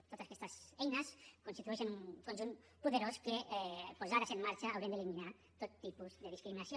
totes aquestes eines constitueixen un conjunt poderós que posades en marxa haurien d’eliminar tot tipus de discriminació